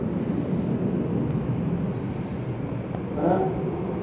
ਹਮ ਹੈਨਾ ਹਮ